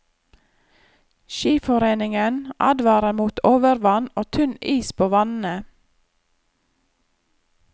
Skiforeningen advarer mot overvann og tynn is på vannene.